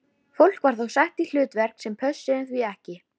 Fólk var þar sett í hlutverk sem pössuðu því ekki.